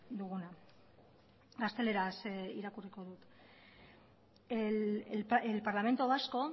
duguna gazteleraz irakurriko dut el parlamento vasco